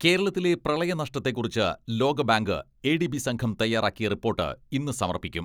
കേരളത്തിലെ പ്രളയ നഷ്ടത്തെക്കുറിച്ച് ലോകബാങ്ക്, എ ഡി ബി സംഘം തയ്യാറാക്കിയ റിപ്പോട്ട് ഇന്ന് സമർപ്പിക്കും.